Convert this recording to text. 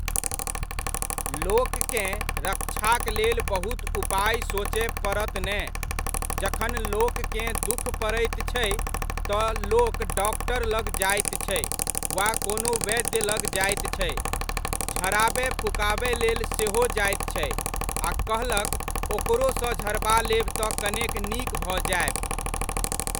लोककेँ रक्षाक लेल बहुत उपाय सोचय पड़त ने, जखन लोककेँ दुःख पड़ैत छै, तऽ लोक डॉक्टर लग जाइत छै वा कोनो वैद्य लग जाइत छै, झड़ाबय फुकाबयलेल सेहो जाइत छै, आ कहलक ओकरोसँ झड़बा लेब तऽ कनेक नीक भऽ जायब।